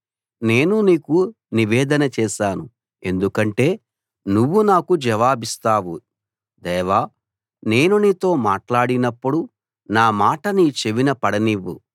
నేను నీకు నివేదన చేశాను ఎందుకంటే నువ్వు నాకు జవాబిస్తావు దేవా నేను నీతో మాట్లాడినప్పుడు నా మాట నీ చెవిన పడనివ్వు